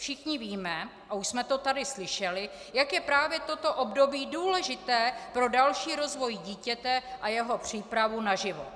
Všichni víme a už jsme to tady slyšeli, jak je právě toto období důležité pro další rozvoj dítěte a jeho přípravu na život.